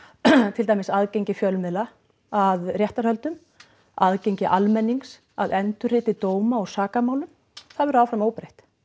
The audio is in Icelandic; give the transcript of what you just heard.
til dæmis aðgengi fjölmiðla að réttarhöldum aðgengi almennings að endurriti dóma úr sakamálum það verður áfram óbreytt